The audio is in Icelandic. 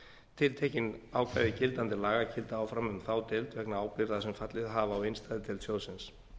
tiltekin ákvæði gildandi laga gilda áfram um þá deild vegna ábyrgða sem fallið hafa á innstæðudeild sjóðsins